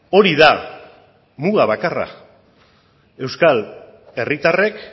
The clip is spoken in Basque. hori da muga bakarra euskal herritarrek